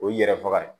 O ye yɛrɛ faga ye